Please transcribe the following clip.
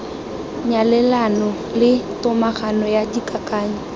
nyalelano le tomagano ya dikakanyo